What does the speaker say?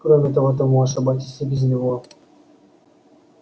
кроме того ты можешь обойтись и без него